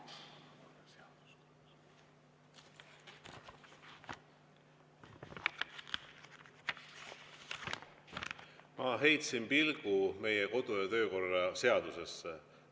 Ma heitsin pilgu meie kodu‑ ja töökorra seadusesse.